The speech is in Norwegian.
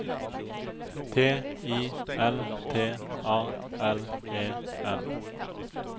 T I L T A L E N